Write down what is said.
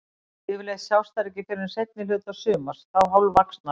Yfirleitt sjást þær ekki fyrr en seinni hluta sumars, þá hálfvaxnar.